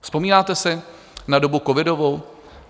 Vzpomínáte si na dobu covidovou?